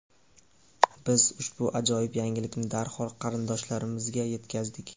Biz ushbu ajoyib yangilikni darhol qarindoshlarimizga yetkazdik”.